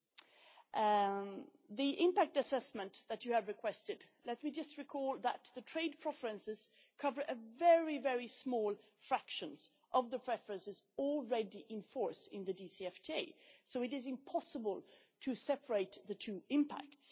On the impact assessment that you have requested, let me just recall that the trade preferences cover a very small fraction of the preferences already in force in the DCFTA, so it is impossible to separate the two impacts.